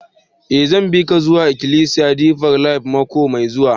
Eh, zan bi ka zuwa ikilisiya Deeper life mako mai zuwa.